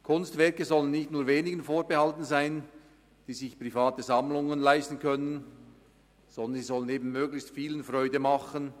Kunstwerke sollen nicht nur wenigen vorbehalten sein, die sich private Sammlungen leisten können, sondern möglichst vielen Menschen Freude machen.